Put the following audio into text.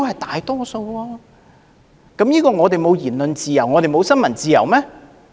這種情況代表香港沒有言論自由和新聞自由嗎？